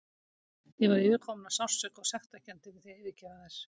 Ég var yfirkomin af sársauka og sektarkennd yfir því að yfirgefa þær.